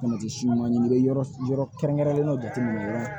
si ɲuman ɲini i be yɔrɔ kɛrɛnkɛrɛnnenw jateminɛ